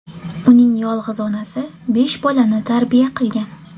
Uning yolg‘iz onasi besh bolani tarbiya qilgan.